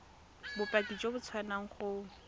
bopaki jo bo tswang go